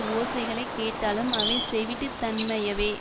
ஓசைகளை கேட்டாலும் அவை செவிட்டுத் தன்மையவே